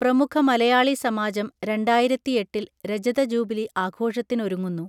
പ്രമുഖ മലയാളി സമാജം രണ്ടായിരത്തിയെട്ടിൽ രജതജൂബിലി ആഘോഷത്തിനൊരുങ്ങുന്നു